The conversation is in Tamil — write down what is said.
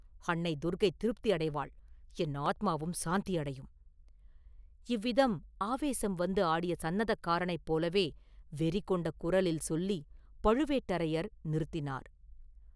"அன்னை துர்க்கை திருப்தி அடைவாள்; என் ஆத்மாவும் சாந்தி அடையும்…” இவ்விதம் ஆவேசம் வந்து ஆடிய சந்நதக்காரனைப் போலவே வெறி கொண்ட குரலில் சொல்லிப் பழுவேட்டரையர் நிறுத்தினார்.